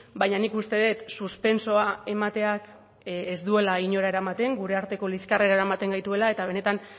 baina nik uste dut suspentsoa emateak ez duela inora eramaten gure arteko liskarrera eramaten gaituela eta benetan